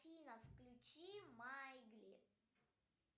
афина включи маугли